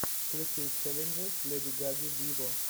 включи челленджи леди гаги виво